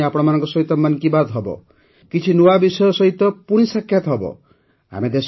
ଆରଥରକୁ ପୁଣି ଆପଣମାନଙ୍କ ସହିତ ମନ୍ କି ବାତ୍ ହେବ କିଛି ନୂଆ ବିଷୟ ସହିତ ପୁଣି ସାକ୍ଷାତ ହେବ